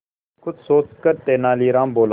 कुछ सोचकर तेनालीराम बोला